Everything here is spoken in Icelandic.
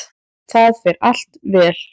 Það fer allt vel.